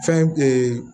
Fɛn